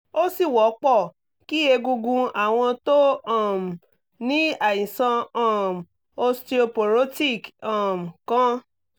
ó sì wọ́pọ̀ kí egungun àwọn tó um ní àìsàn um osteoporotic um kán